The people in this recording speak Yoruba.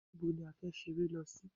Níbo ni a fẹ́ ṣeré lọ sí?